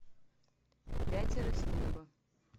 пятеро с неба